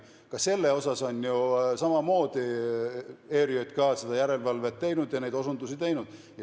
Ka nende asjade üle on ERJK ju samamoodi järelevalvet ja osundusi teinud.